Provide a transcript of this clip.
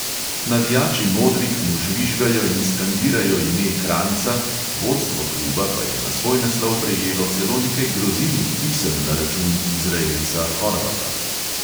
Navijači modrih mu žvižgajo in skandirajo ime kranjca, vodstvo kluba pa je na svoj naslov prejelo celo nekaj grozilnih pisem na račun izraelca horvata.